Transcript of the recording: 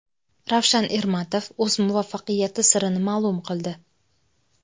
Ravshan Ermatov o‘z muvaffaqiyati sirini ma’lum qildi.